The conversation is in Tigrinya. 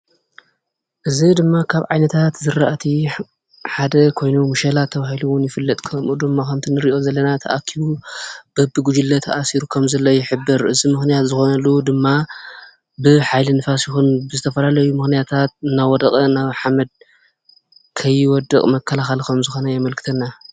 እዚ ድማ ካብ ዓይነታት ዝረኣቲ ሓደ ኮይኑ መሸላ ተባሂሉ እዉን ይፍለጥ:: ከምኡ ድማ ከምቲ ንሪኦ ዘለና ተኣኪቡ በቢ ጉጅለ ተኣሲሩ ከምዘሎ ይሕብር ።እዚ ምክንያት ዝኮነሉ ድማ ብሓይሊ ንፋስ ይኩን ብዝተፈላለዩ ምክንያታት እናወደቀ ናብ ሓመድ ከይወድቅ መከላከሊ ከምዝኮነ የምልክተና ።